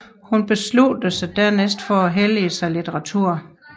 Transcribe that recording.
Han besluttede dernæst for at hellige sig litteratur